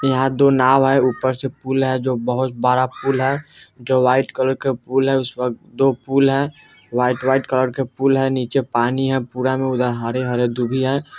यहाँ दो नाव है ऊपर से पुल है जो बहुत बड़ा पुल है जो व्हाइट कलर के पुल है उस पर दो पुल है व्हाइट व्हाइट कलर के पुल है नीचे पानी है पूरा में उधर में हरे-हरे दुभी है।